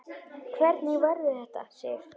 Hvernig verður þetta, Sif?